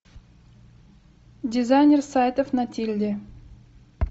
дизайнер сайтов на тильде